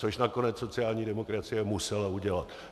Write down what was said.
Což nakonec sociální demokracie musela udělat.